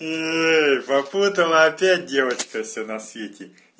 эй попутала опять девочка всё на свете